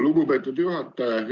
Lugupeetud juhataja!